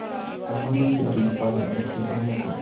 उन्होंने डेयरी उत्पादन और किसानों को